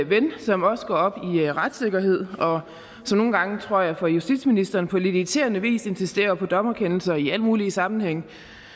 ven som også går op i retssikkerhed og som nogle gange tror jeg for justitsministeren på lidt irriterende vis insisterer på dommerkendelser i alle mulige sammenhænge